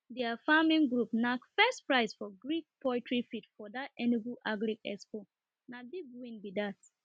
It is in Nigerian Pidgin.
their farming group knack first prize for green poultry feed for that enugu agri expo na big win be that